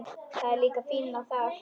Það er líka fínna þar.